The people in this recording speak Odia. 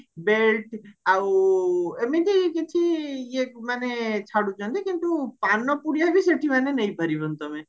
belt ଆଉ ଏମିତି କିଛି ଇଏକୁ ମାନେ ଛାଡୁଛନ୍ତି କିନ୍ତୁ ପାନ ପୁଡିଆବି ସେଠି ମାନେ ନେଇପାରିବନି ତମେ